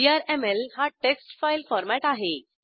VRML हा text file format आहे